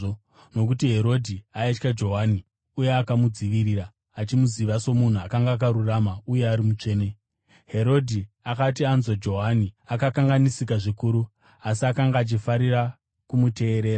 nokuti Herodhi aitya Johani uye akamudzivirira, achimuziva somunhu akanga akarurama uye ari mutsvene. Herodhi akati anzwa Johani, akakanganisika zvikuru; asi akanga achifarira kumuteerera.